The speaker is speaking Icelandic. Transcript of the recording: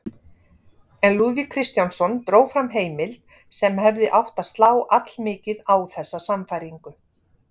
En Lúðvík Kristjánsson dró fram heimild sem hefði átt að slá allmikið á þessa sannfæringu.